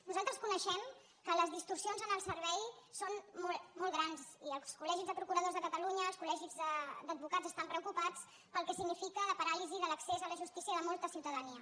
nosaltres coneixem que les distorsions en el servei són molt grans i els col·legis de procuradors de catalunya els col·legis d’advocats estan preocupats pel que significa la paràlisi de l’accés a la justícia de molta ciutadania